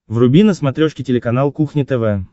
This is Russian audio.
вруби на смотрешке телеканал кухня тв